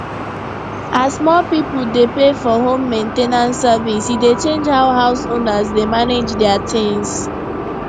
as more people dey pay for home main ten ance service e dey change how house owners dey manage their things